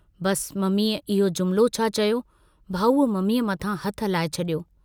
बसि मम्मीअ इहो जुमिलो छा चयो, भाऊअ मम्मीअ मथां हथु हलाए छड़ियो।